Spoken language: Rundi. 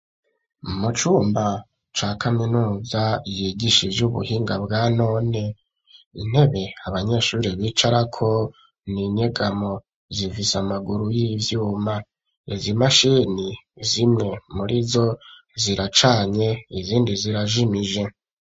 Umucumba ca kaminuza yigisha ivyo ubuhinga bwa none intebe abanyeshuri b'ic arako n'inyegamo zifise amaguru y'ivyuma ezo imashini zimwe muri zo ziracanye izindi zirajimije.